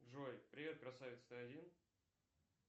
джой привет красавец ты один